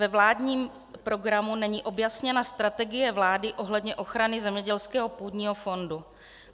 Ve vládním programu není objasněna strategie vlády ohledně ochrany zemědělského půdního fondu.